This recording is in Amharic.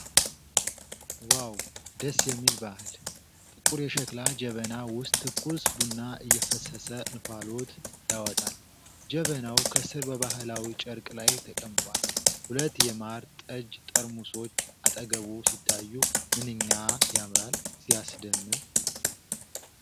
"ዋው! ደስ የሚል ባህል!" ጥቁር የሸክላ ጀበና ውስጥ ትኩስ ቡና እየፈሰሰ እንፋሎት ያወጣል። ጀበናው ከስር በባህላዊ ጨርቅ ላይ ተቀምጧል። ሁለት የማር ጠጅ ጠርሙሶች አጠገቡ ሲታዩ፣ "ምንኛ ያምራል!" ፤ "ሲያስደምም!"